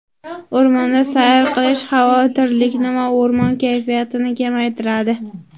O‘rmonda sayr qilish xavotirlikni va yomon kayfiyatni kamaytiradi.